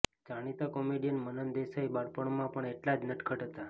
જાણીતા કોમેડિયન મનન દેસાઈ બાળપણમાં પણ એટલા જ નટખટ હતા